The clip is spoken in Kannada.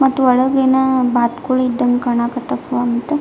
ಮತ್ತ್ ಒಳಗಿನ ಬಾತುಕೋಳಿ ಇದಂಗ್ ಕಾಣಕತ್ವ್ ಫೋನ್ --